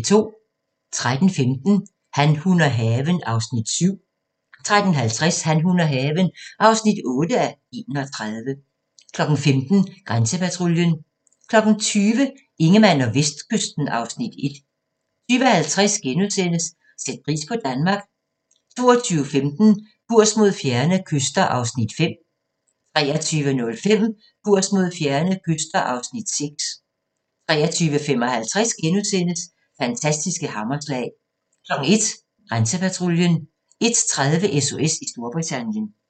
13:15: Han, hun og haven (7:31) 13:50: Han, hun og haven (8:31) 15:00: Grænsepatruljen 20:00: Ingemann og Vestkysten (Afs. 1) 20:50: Sæt pris på Danmark * 22:15: Kurs mod fjerne kyster (Afs. 5) 23:05: Kurs mod fjerne kyster (Afs. 6) 23:55: Fantastiske hammerslag * 01:00: Grænsepatruljen 01:30: SOS i Storbritannien